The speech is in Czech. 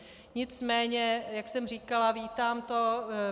Nicméně jak jsem říkala, vítám to.